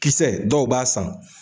Kisɛ dɔw b'a san